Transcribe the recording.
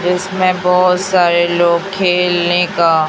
इसमें बहोत सारे लोग खेलने का--